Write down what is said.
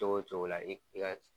Cogo o cogo la i ka